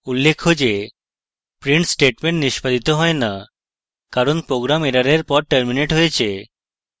উল্লেখ্য যে print statement নিষ্পাদিত হয় note কারণ program এররের পর terminates হয়েছে